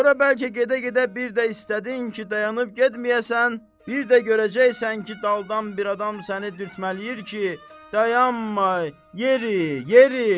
Sonra bəlkə gedə-gedə bir də istədin ki, dayanıb getməyəsən, bir də görəcəksən ki, daldan bir adam səni dürtmələyir ki, dayanma, yeri, yeri!